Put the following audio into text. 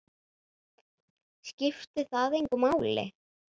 Skiptir það engu máli?